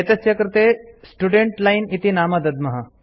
एतस्य कृते student line इति नाम दद्मः